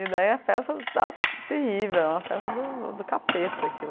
E daí a festa está terrível, é uma festa do do capeta aquilo.